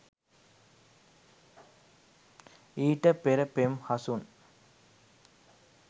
ඊට පෙර පෙම් හසුන්.